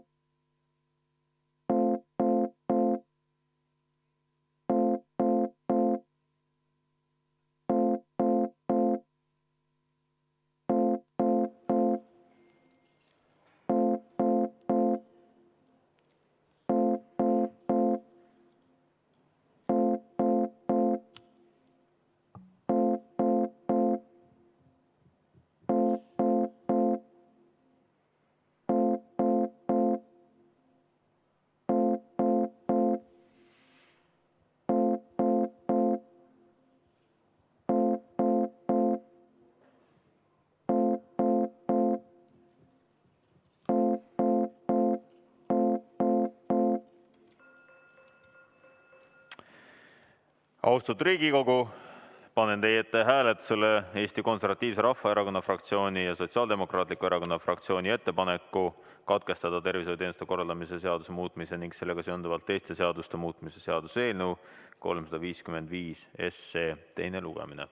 V a h e a e g Austatud Riigikogu, panen teie ette hääletusele Eesti Konservatiivse Rahvaerakonna fraktsiooni ja Sotsiaaldemokraatliku Erakonna fraktsiooni ettepaneku katkestada tervishoiuteenuste korraldamise seaduse muutmise ning sellega seonduvalt teiste seaduste muutmise seaduse eelnõu 355 teine lugemine.